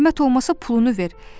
Zəhmət olmasa pulunu ver.